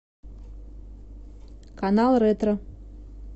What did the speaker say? канал ретро